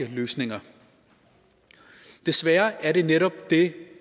løsninger desværre er det netop det